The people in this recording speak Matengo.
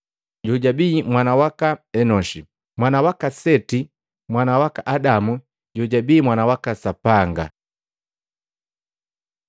jojabi mwana waka Enoshi, mwana waka Seti, mwana waka Adamu, jojabi mwana waka Sapanga.